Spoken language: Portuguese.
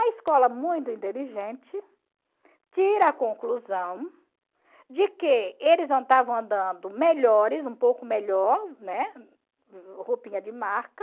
A escola, muito inteligente, tira a conclusão de que eles andando melhores, um pouco melhor, né, roupinha de marca,